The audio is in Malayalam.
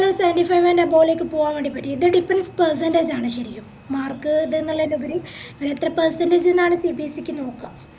ല് seventy five and above ലേക്ക് പോവാൻ വേണ്ടി പറ്റും ഇത് depends percentage ആണ് ശെരിക്കും mark ഇത്ന്നിളേലുപരി എത്ര percentage ന്നാണ് ഉദ്ദേശിക്കുന്നത്